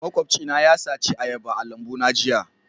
Makwabcina ya sace ayaba a lambuna jiya